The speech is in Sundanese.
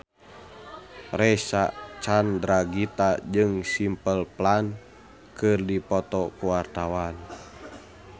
Reysa Chandragitta jeung Simple Plan keur dipoto ku wartawan